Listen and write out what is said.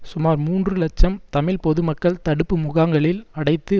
சுமார் மூன்று இலட்சம் தமிழ் பொது மக்கள் தடுப்பு முகாங்களில் அடைத்து